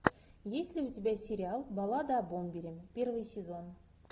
есть ли у тебя сериал баллада о бомбере первый сезон